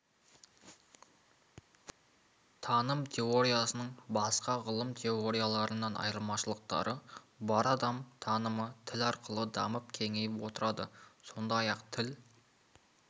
таным теориясының басқа ғылым теорияларынан айырмашылықтары бар адам танымы тіл арқылы дамып кеңейіп отырады сондай-ақ тіл